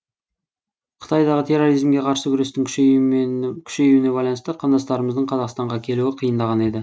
қытайдағы терроризмге қарсы күрестің күшеюіне байланысты қандастарымыздың қазақстанға келуі қиындаған еді